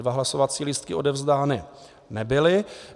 Dva hlasovací lístky odevzdány nebyly.